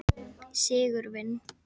Sigurvin